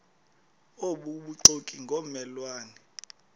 obubuxoki ngomme lwane